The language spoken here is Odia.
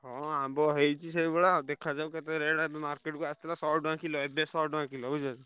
ହଁ ଆମ୍ବ ହେଇଛି ସେଇଭଳିଆ ଆଉ ଦେଖାଯାଉ କେତେ market କୁ ତ ଆସିଥିଲା ଶହେ ଟଙ୍କା କିଲୋ ଏବେ ଶହେ ଟଙ୍କା କିଲୋ ବୁଝିପାଇଲ।